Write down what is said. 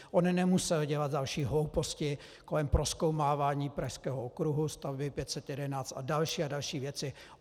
On nemusel dělat další hlouposti kolem prozkoumávání pražského okruhu, stavby 511 a další a další věci.